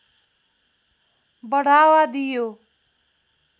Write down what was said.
बढावा दियो